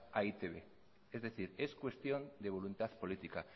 a e i te be es decir es cuestión de voluntad política